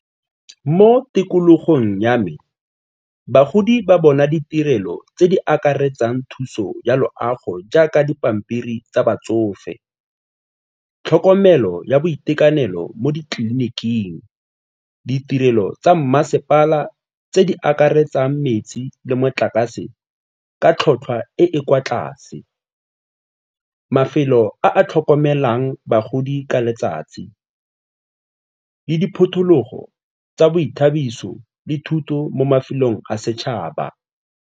Mo tikologong ya me, bagodi ba bona ditirelo tse di akaretsang thuso ya loago jaaka dipampiri tsa batsofe, tlhokomelo ya boitekanelo mo ditleliniking, ditirelo tsa mmasepala tse di akaretsang metsi le motlakase ka tlhotlhwa e e kwa tlase, mafelo a a tlhokomelang bagodi ka letsatsi le tsa boithabiso le thuto mo mafelong a setšhaba.